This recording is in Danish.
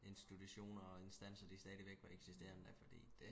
institutioner og instanser de stadigvæk var eksisterende da fordi det